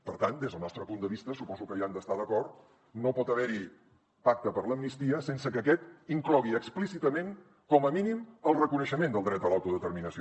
per tant des del nostre punt de vista suposo que hi han d’estar d’acord no pot haver hi pacte per a l’amnistia sense que aquest inclogui explícitament com a mínim el reconeixement del dret a l’autodeterminació